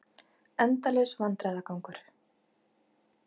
Endalaus vandræðagangur.